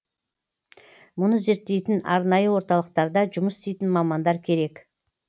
мұны зерттейтін арнайы орталықтарда жұмыс істейтін мамандар керек